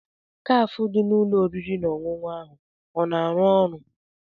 Kafe dị na ụlọ oriri na ọṅụṅụ ahụ o na-arụ ọrụ?